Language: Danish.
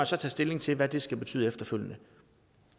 så tage stilling til hvad det skal betyde efterfølgende